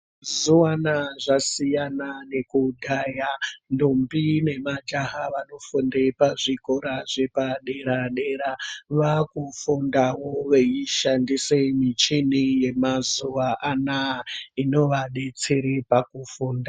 Zuwana zvasiiyana nekudhaya ndombi nemajaha vanofunde pazvikora zvepadera-dera vaakufundawo veishandise michini yemazuva anaa ino vadetsere pakufunda.